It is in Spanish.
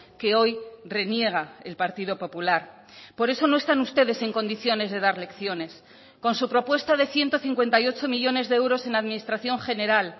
que hoy reniega el partido popular por eso no están ustedes en condiciones de dar lecciones con su propuesta de ciento cincuenta y ocho millónes de euros en administración general